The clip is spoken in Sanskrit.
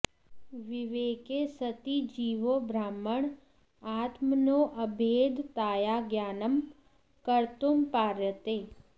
विवेके सति जीवो ब्रह्मण् आत्मनोऽभेदताया ज्ञानं कर्त्तुं पार्यते